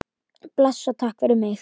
Bless og takk fyrir mig.